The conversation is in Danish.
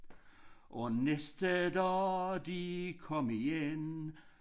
Og næste dag de kom igen